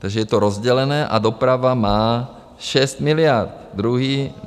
Takže je to rozdělené a doprava má šest miliard.